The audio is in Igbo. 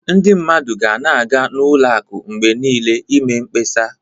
Ndị mmadụ ga na-aga n'ụlọ akụ mgbe niile i mee mkpesa.